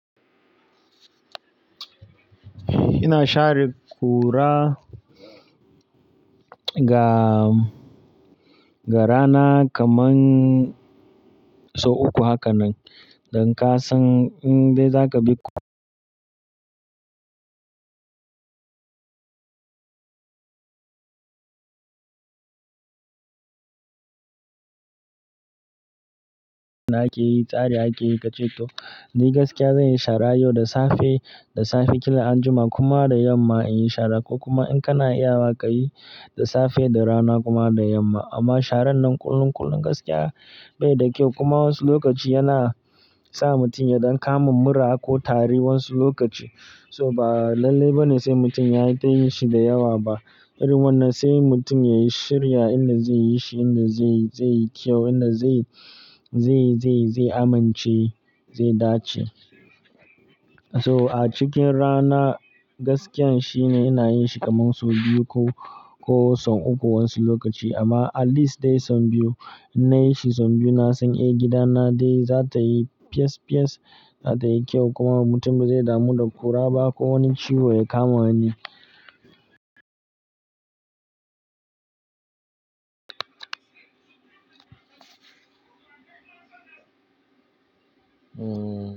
Ina share kura ga, ga rana kaman sau uku haka nan, don kasan in dai za ka bi- na ƙiyi, tsare aƙi ƙa ce to. Ni gaskiya zan yi shara yau da safe, da safe, kila anjima kuma da yamma in yi shara ko kuma in kana iya ma ka yi da safe, da rana kuma da yamma. Amma sharan nan kullum, kullum gaskiya bai da kyau kuma wasu lokaci yana sa mutum ya dan kamin mura ko tari wasu lokaci. So ba lalle bane sai mutum yayi ta yi shi da yawa ba. Irin wannan sai mutum ya yi shirya inda zai yi shi, inda zai, zai yi kyau, inda zai, zai, zai, zai amince, zai dace. So a cikin rana gaskiya shine ina yin shi kamar sau biyu ko, ko sau uku wasu lokaci amma at least dai sau biyu. Na yi shi sau biyu na san eh gida na dai za ta yi fiyes, fiyes, za ta yi kyau kuma mutum bai damu da kura ba ko wani ciwo ya kama ni. Hmm.